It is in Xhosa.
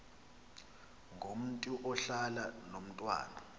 ngomntu ohlala nomntwana